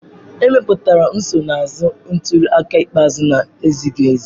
Emepụtara nsonaazụ ntuli aka ikpeazụ na-ezighiezi.